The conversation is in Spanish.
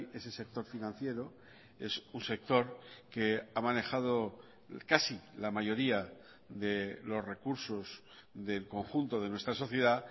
ese sector financiero es un sector que ha manejado casi la mayoría de los recursos del conjunto de nuestra sociedad